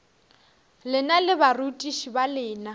lena le barutiši ba lena